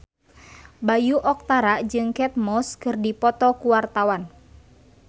Bayu Octara jeung Kate Moss keur dipoto ku wartawan